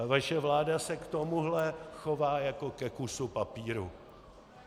Ale vaše vláda se k tomuhle chová jako ke kusu papíru.